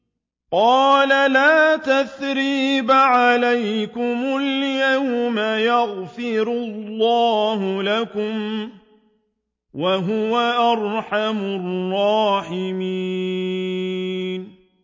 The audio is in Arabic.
قَالَ لَا تَثْرِيبَ عَلَيْكُمُ الْيَوْمَ ۖ يَغْفِرُ اللَّهُ لَكُمْ ۖ وَهُوَ أَرْحَمُ الرَّاحِمِينَ